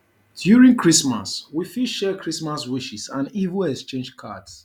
during christmas we fit share christmas wishes and even exchange cards